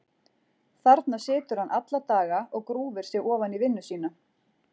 Þarna situr hann alla daga og grúfir sig ofan í vinnu sína.